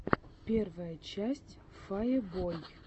первая часть фае бой